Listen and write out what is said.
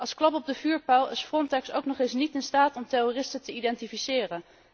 Als klap op de vuurpijl is Frontex ook nog eens niet in staat om terroristen te identificeren.